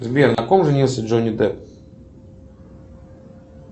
сбер на ком женился джонни депп